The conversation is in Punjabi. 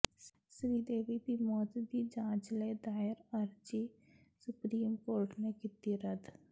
ਸ੍ਰੀਦੇਵੀ ਦੀ ਮੌਤ ਦੀ ਜਾਂਚ ਲਈ ਦਾਇਰ ਅਰਜ਼ੀ ਸੁਪਰੀਮ ਕੋਰਟ ਨੇ ਕੀਤੀ ਰੱਦ